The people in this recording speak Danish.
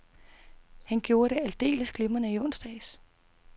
Han gjorde det aldeles glimrende i onsdags.